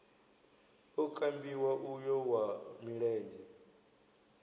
o kambiwa uyo wa milenzhe